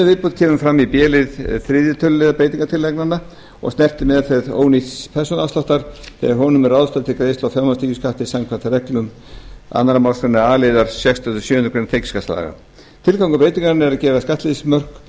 viðbótin kemur fram í b lið þriðja tölulið breytingartillagnanna og snertir meðferð ónýtts persónuafsláttar þegar honum er ráðstafað til greiðslu fjármagnstekjuskatts samkvæmt reglum annarri málsgrein a liðar sextugustu og sjöundu grein tekjuskattslaga tilgangur breytingarinnar er að gera skattleysismörk